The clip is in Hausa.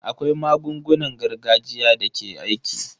Akwai magungunan gargajiya da ke aiki.